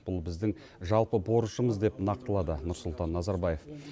бұл біздің жалпы борышымыз деп нақтылады нұрсұлтан назарбаев